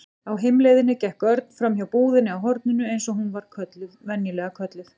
Á heimleiðinni gekk Örn framhjá búðinni á horninu eins og hún var venjulega kölluð.